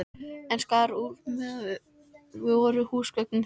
En skar úr að það voru húsgögnin þeirra.